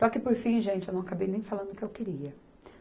Só que por fim, gente, eu não acabei nem falando o que eu queria.